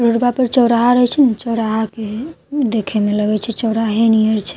रोडवा पर चौराहा रहए छे ना चौराहा के देखे में लगई छे चौरहे नहैत छे --